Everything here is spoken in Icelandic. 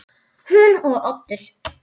Hún og Oddur